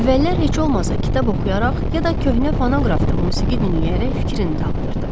Əvvəllər heç olmasa kitab oxuyaraq, ya da köhnə fonoqrafda musiqi dinləyərək fikrini dağıdırdı.